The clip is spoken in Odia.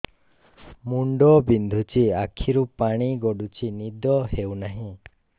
ମୁଣ୍ଡ ବିନ୍ଧୁଛି ଆଖିରୁ ପାଣି ଗଡୁଛି ନିଦ ହେଉନାହିଁ